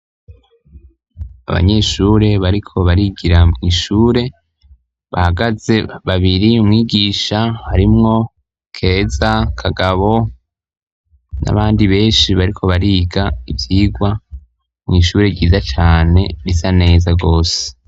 Abanyeshure bariko barigira mw'ishure bahagaze babiri, Umwigisha, harimwo Keza, Kagabo n'abandi benshi bariko bariga ivyigwa mw'ishure ryiza cane bisa neza rwose.